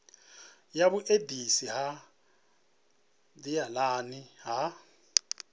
ya vhuendisi ha nḓilani ha